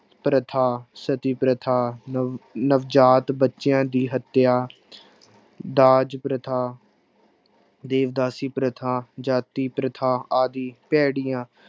ਪ੍ਰਥਾ, ਸਤੀ ਪ੍ਰਥਾ, ਨਵ ਨਵਜਾਤ ਬੱਚਿਆਂ ਦੀ ਹੱਤਿਆ ਦਾਜ ਪ੍ਰਥਾ ਦੇਵਦਾਸੀ ਪ੍ਰਥਾ ਜਾਤੀ ਪ੍ਰਥਾ ਆਦਿ ਭੈੜੀਆਂ